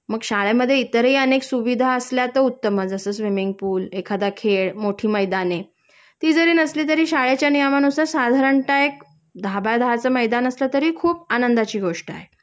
मग शाळेमध्ये इतरही अनेक सुविधा असल्या तर उत्तमच जस स्विमिन्ग पूल, एखादा खेळ, मोठी मैदाने ती जरी नसली तरी शाळेच्या नियमानुसार साधारणतः एक दहा बाय दहा च मैदान असलं तरी खूप आनंदची गोष्ट आहे